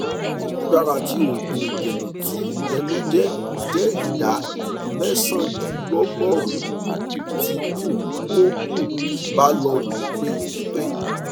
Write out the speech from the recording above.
imudara ti oogun idena ti ẹnu jẹ jẹ ida mẹsandinlọgọrun um ti um o um ba lo ni pipe